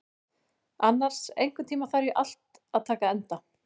Annas, einhvern tímann þarf allt að taka enda.